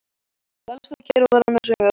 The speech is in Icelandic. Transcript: Lalli stóð kyrr og var annars hugar.